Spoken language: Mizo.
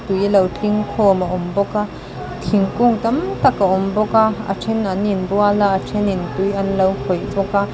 tui lo tling khawm a awm bawk a thingkung tam tak a awm bawk a a then an inbual a a thenin tui an lo khawih bawk a.